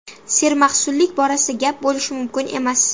Sermahsullik borasida gap bo‘lishi mumkin emas.